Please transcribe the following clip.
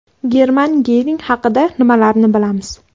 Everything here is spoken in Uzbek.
German Gering haqida nimalarni bilamiz?.